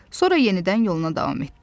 Sonra yenidən yoluna davam etdi.